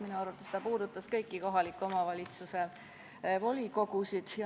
Minu arvates puudutas ta kõiki kohaliku omavalitsuse volikogusid.